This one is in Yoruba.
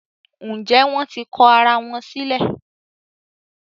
Njé wón tí kò àrà wón sílè?